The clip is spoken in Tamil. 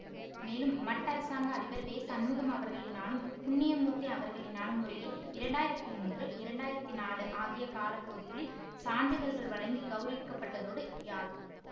மேலும் மட் அரசாங்க அதிபர் வேசண்முகம் அவர்களினாலும் புண்ணியமூர்த்தி அவர்களினாலும் முறையே இரண்டு ஆயிரத்தி மூன்று இரண்டு ஆயிரத்தி நாலு ஆகிய காலப்பகுதிகளில் சான்றிதழ்கள் வழங்கி கௌரவிக்கப்பட்டதோடு யாழ்